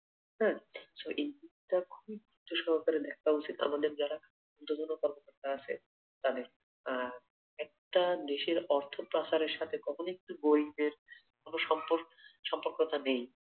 আহ আসলে এই দিকটা খুব গুরুত্ব সহকারে দেখা উচিৎ আমাদের যারা উর্ধতন কর্মকর্তা আছে তাদের আর একটা দেশের অর্থ পাচার এর সাথে কখনোই কিন্তু গরিবের কোনো সম্পর্ক সম্পর্কটা নেই।